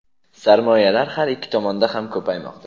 sarmoyalar har ikki tomonda ham ko‘paymoqda.